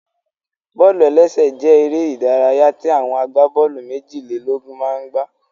Bọ́ọ̀lù-ẹlẹ́sẹ̀ jẹ́ eré ìdárayá tí àwọn agbábọ́ọ̀lù méjìlélógún máa n gbá